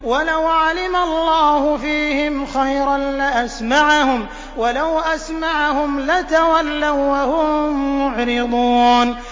وَلَوْ عَلِمَ اللَّهُ فِيهِمْ خَيْرًا لَّأَسْمَعَهُمْ ۖ وَلَوْ أَسْمَعَهُمْ لَتَوَلَّوا وَّهُم مُّعْرِضُونَ